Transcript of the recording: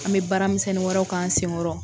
An bɛ baaramisɛnnin wɛrɛw k'an sen kɔɔrɔ.